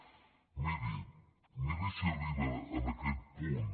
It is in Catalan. miri miri si arriben en aquest punt